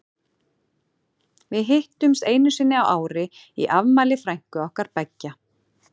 Við hittumst einu sinni á ári í afmæli frænku okkar beggja.